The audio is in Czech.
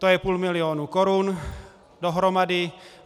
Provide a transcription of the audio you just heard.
To je půl milionu korun dohromady.